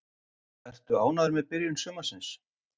Ertu ánægður með byrjun sumarsins?